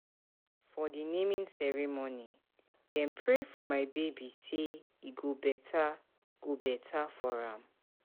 For di naming ceremony, dem pray for my baby sey e go beta go beta for am.